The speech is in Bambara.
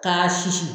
K'a susu